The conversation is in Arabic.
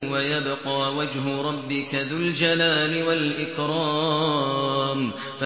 وَيَبْقَىٰ وَجْهُ رَبِّكَ ذُو الْجَلَالِ وَالْإِكْرَامِ